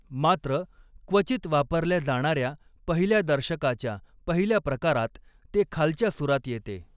मात्र, क्वचित वापरल्या जाणाऱ्या पहिल्या दर्शकाच्या पहिल्या प्रकारात ते खालच्या सुरात येते.